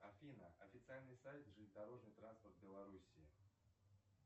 афина официальный сайт железнодорожный транспорт белоруссии